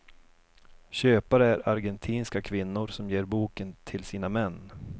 Köpare är argentinska kvinnor som ger boken till sina män.